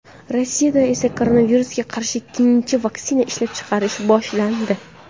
Rossiyada esa koronavirusga qarshi ikkinchi vaksinani ishlab chiqarish boshlandi .